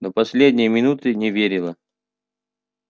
до последней минуты не верила